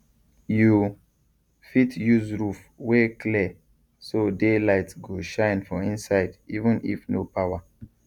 you fit use roof wey clear so daylight go shine for inside even if no power